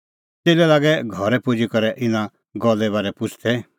च़ेल्लै लागै घरै पुजी करै इना गल्ले बारै पुछ़दै